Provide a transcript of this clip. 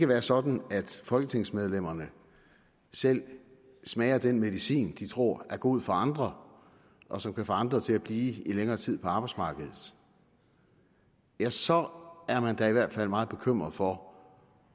være sådan at folketingsmedlemmerne selv smager den medicin de tror er god for andre og som kan få andre til at blive i længere tid på arbejdsmarkedet ja så er man da i hvert fald meget bekymret for